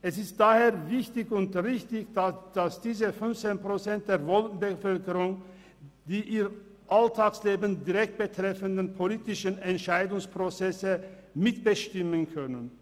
Es ist daher wichtig und richtig, dass diese 15 Prozent der Wohnbevölkerung die ihr Alltagsleben direkt betreffenden politischen Entscheidungsprozesse mitbestimmen können.